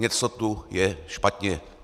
Něco tu je špatně.